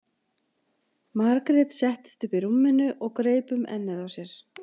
Margrét settist upp í rúminu og greip um ennið á sér.